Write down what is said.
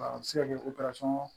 A bɛ se ka kɛ o